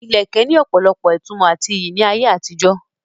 Ilẹ̀kẹ̀ ní opolopo ìtumò àti iyì ní ayé àtijó.